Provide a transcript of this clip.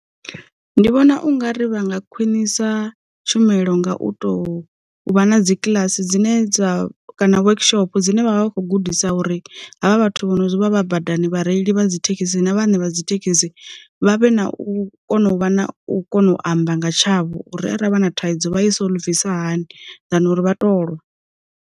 Ndi vhona u ngari vhanga khwinisa tshumelo nga u tou vha na dzikilasi dzine dza kana work shopo dzine vha vha vha kho gudisa uri havha vhathu vho no vha vha badani vhareili vha dzi thekhisi na vhane vha dzi thekhisi, vha vhe na u kona u vha na u kono u amba nga tshavho uri a ravha na thaidzo vha i solvisa hani than uri vha tolwa.